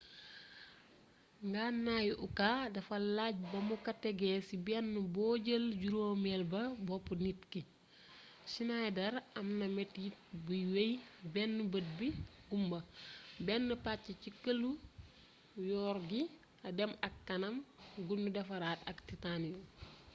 ngannaayu uka dafa lajj ba mu ka tegee ci benn boo jël juróomeel ba boppu nit ki schneideer am na metit buy wey benn bët bi gumma benn pàcc ci këlu your gi dem ak kanam gu nu defaraat ak titanium